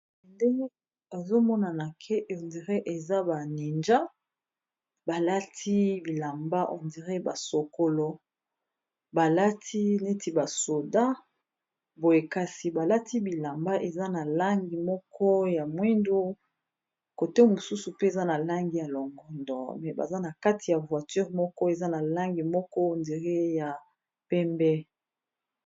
ende ezomonana ke endire eza baninja balati bilamba ondire basokolo balati neti basoda boye kasi balati bilamba eza na langi moko ya mwindu kote mosusu pe eza na langi ya longondo me baza na kati ya voiture moko eza na langi moko ondire ya pembe